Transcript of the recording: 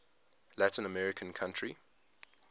latin american country